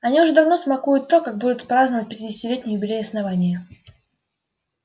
они уже давно смакуют то как будут праздновать пятидесятилетний юбилей основания